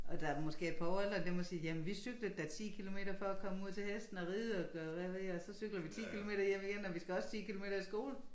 Og der måske er et par år ældre dem og siger jamen vi cyklede da 10 kilometer for at komme ud til hesten og ride og gøre hvad ved og så cyklede vi hjem igen og vi skal også 10 kilometer i skole